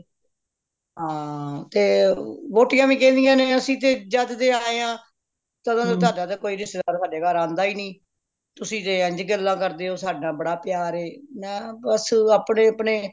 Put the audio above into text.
ਹਾਂ ਤੇ ਵੋਟੀਆਂ ਵੀ ਕਹਿੰਦਿਆਂ ਨੇ ਅੱਸੀ ਤੇ ਜੱਦ ਦੇ ਆਏਆ ਤਦੋਂ ਦਾ ਤੁਹਾਡਾ ਤੇ ਕੋਈ ਰਿਸ਼ਤੇਦਾਰ ਹਾਡੇ ਘਰ ਆਂਦਾ ਨਹੀਂ ਤੁਸੀ ਤੇ ਇੰਝ ਗੱਲਾਂ ਕਰਦੇ ਹੋ ਸਦਾ ਬੜਾ ਪਿਆਰ ਏ ਮੈਂ ਬੱਸ ਅਪਣੇ ਅਪਣੇ